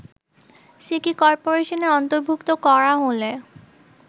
city করপোরেশনে অন্তর্ভুক্ত করা হলে